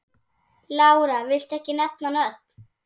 Lára: Viltu ekki nefna nöfn?